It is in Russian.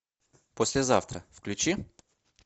послезавтра включи